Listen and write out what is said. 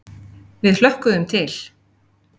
Við hlökkuðum til.